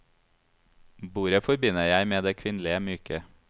Bordet forbinder jeg med det kvinnelige, myke.